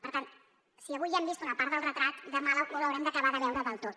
per tant si avui ja hem vist una part del retrat demà l’haurem d’acabar de veure del tot